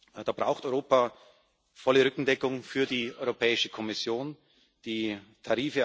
Da muss Europa der Europäischen Kommission volle Rückendeckung geben.